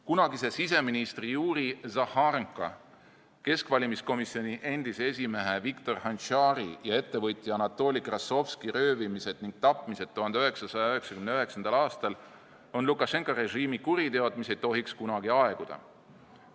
Kunagise siseministri Juri Zahharenko, keskvalimiskomisjoni endise esimehe Viktor Hantšari ja ettevõtja Anatoli Krassovski röövimine ning tapmine 1999. aastal on Lukašenka režiimi kuriteod, mis ei tohiks kunagi aeguda.